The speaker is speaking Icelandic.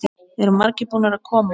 Eru margir búnir að koma?